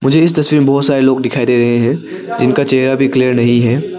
मुझे इस तस्वीर में बहुत सारे लोग दिखाई दे रहे हैं जिनका चेहरा भी क्लियर नहीं है।